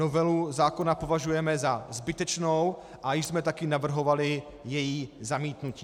Novelu zákona považujeme za zbytečnou a již jsme také navrhovali její zamítnutí.